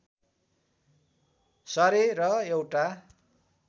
सरे र एउटा